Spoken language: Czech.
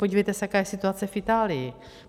Podívejte se, jaká je situace v Itálii.